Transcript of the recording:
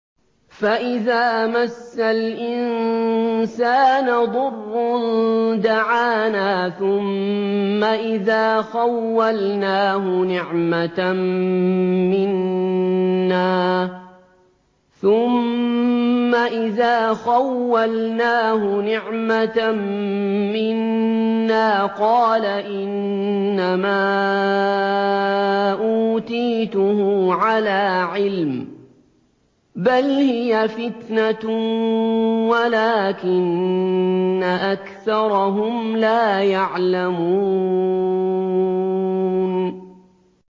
فَإِذَا مَسَّ الْإِنسَانَ ضُرٌّ دَعَانَا ثُمَّ إِذَا خَوَّلْنَاهُ نِعْمَةً مِّنَّا قَالَ إِنَّمَا أُوتِيتُهُ عَلَىٰ عِلْمٍ ۚ بَلْ هِيَ فِتْنَةٌ وَلَٰكِنَّ أَكْثَرَهُمْ لَا يَعْلَمُونَ